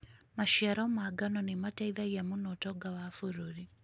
Maciaro ma ngano nĩ mateithagia mũno ũtonga wa bũrũri.